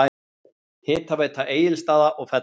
Hitaveita Egilsstaða og Fella